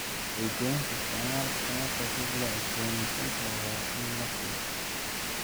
Wacyigelinta isticmaalka tamarta dib loo cusbooneysiin karo waa in la xoojiyo.